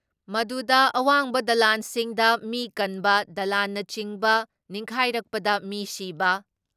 ꯃꯗꯨꯗ ꯑꯋꯥꯡꯕ ꯗꯂꯟꯁꯤꯡꯗ ꯃꯤ ꯀꯟꯕ, ꯗꯂꯥꯟꯅꯆꯤꯡꯕ ꯅꯤꯡꯈꯥꯏꯔꯛꯄꯗ ꯃꯤ ꯁꯤꯕ